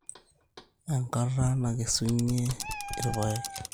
Enkata nakesunye irr`paek.